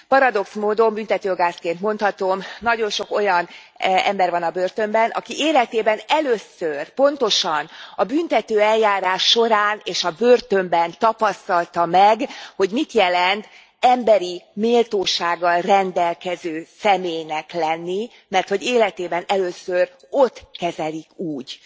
Paradox módon, büntetőjogászként mondhatom, nagyon sok olyan ember van a börtönben, aki életében először, pontosan a büntetőeljárás során és a börtönben tapasztalta meg, hogy mit jelent emberi méltósággal rendelkező személynek lenni, merthogy életében először ott kezelik úgy.